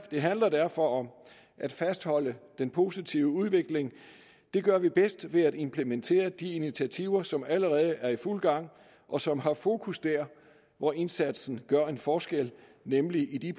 handler derfor om at fastholde den positive udvikling det gør vi bedst ved at implementere de initiativer som allerede er i fuld gang og som har fokus der hvor indsatsen gør en forskel nemlig i de